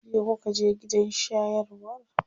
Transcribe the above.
Jiya kuka je gidan shayarwar?